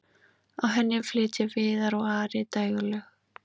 á henni flytja viðar og ari dægurlög